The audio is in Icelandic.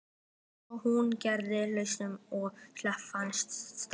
Svo hún greip pelsinn og hljóp af stað.